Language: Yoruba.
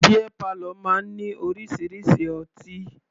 Beer parlour máa ní orísirísi ọtí.